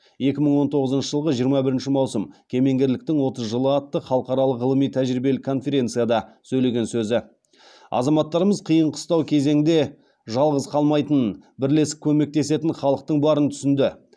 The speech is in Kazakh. азаматтарымыз қиын қыстау кезеңде жалғыз қалмайтынын бірлесіп көмектесетін халықтың барын түсінді